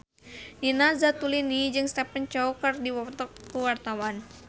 Nina Zatulini jeung Stephen Chow keur dipoto ku wartawan